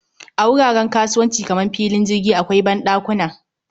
A wuraren kasuwanci kamar filin jirgi akwai banɗakuna